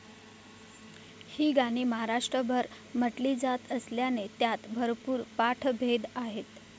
ही गाणी महाराष्ट्रभर म्हटली जात असल्याने त्यांत भरपूर पाठभेद आहेत.